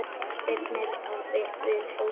Spyrnir við fótum.